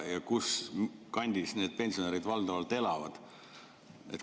Ja kus kandis need pensionärid valdavalt elavad?